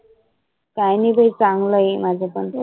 काही नाही बाई चांगल आहे माझ पण